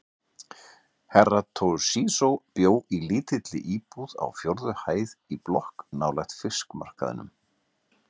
Herra Toshizo bjó í lítilli íbúð á fjórðu hæð í blokk nálægt fiskmarkaðinum.